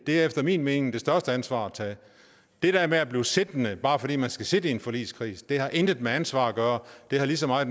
det er efter min mening det største ansvar at tage det der med at blive siddende bare fordi man skal sidde i en forligskreds har intet med ansvar at gøre det har lige så meget